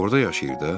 Orda yaşayırdı?